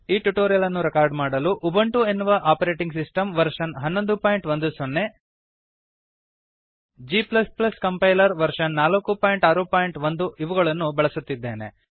ಈ ಟ್ಯುಟೋರಿಯಲ್ ಅನ್ನು ರೆಕಾರ್ಡ್ ಮಾಡಲು ಉಬುಂಟು ಎನ್ನುವ operating system version 1110 g compiler version 461 ಗಳನ್ನು ನಾನು ಬಳಸುತ್ತಿದ್ದೇನೆ